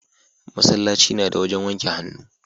masallaci na da wajen wanke hannu